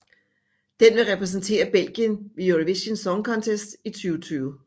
Den vil repræsentere Belgien ved Eurovision Song Contest 2020